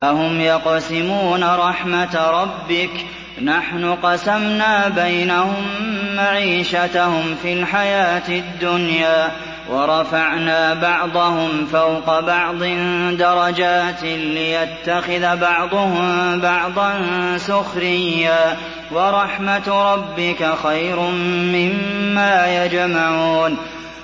أَهُمْ يَقْسِمُونَ رَحْمَتَ رَبِّكَ ۚ نَحْنُ قَسَمْنَا بَيْنَهُم مَّعِيشَتَهُمْ فِي الْحَيَاةِ الدُّنْيَا ۚ وَرَفَعْنَا بَعْضَهُمْ فَوْقَ بَعْضٍ دَرَجَاتٍ لِّيَتَّخِذَ بَعْضُهُم بَعْضًا سُخْرِيًّا ۗ وَرَحْمَتُ رَبِّكَ خَيْرٌ مِّمَّا يَجْمَعُونَ